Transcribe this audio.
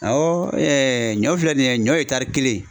Awɔ ɲɔ filɛ nin ye ɲɔ kelen